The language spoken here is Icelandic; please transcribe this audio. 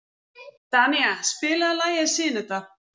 Danía, spilaðu lagið „Syneta“.